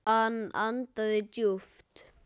Hann andaði djúpt.